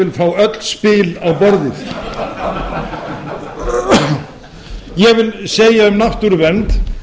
vil fá öl spil á borðið ég vil segja um náttúruvernd